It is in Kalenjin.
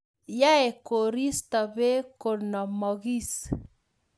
Yoei koristo beek konomokis